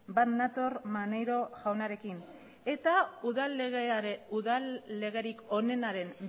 bat nator maneiro jaunarekin eta udal legerik onenaren